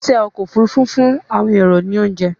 oṣiṣẹ okọ́ òfurufú fún àwọn ẹrọ ní ounje